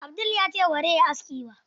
Abdul ya ce bazai yi aski ba.